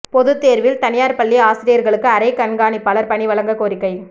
பொதுத்தோ்வில் தனியாா் பள்ளி ஆசிரியா்களுக்கு அறை கண்காணிப்பாளா் பணி வழங்க கோரிக்கை